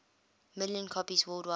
million copies worldwide